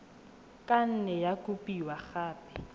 ka nne ya kopiwa gape